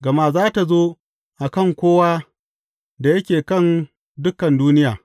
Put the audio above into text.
Gama za tă zo a kan kowa da yake kan dukan duniya.